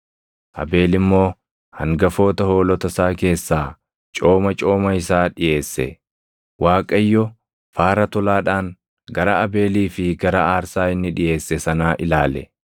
Abeel immoo hangafoota hoolota isaa keessaa cooma cooma isaa dhiʼeesse. Waaqayyo faara tolaadhaan gara Abeelii fi gara aarsaa inni dhiʼeesse sanaa ilaale.